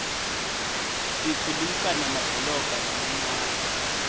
tikhulisa nemadolobha lamancane